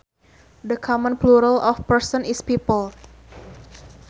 The common plural of person is people